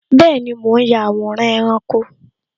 Bẹẹni, mo ń ya àwòrán ẹranko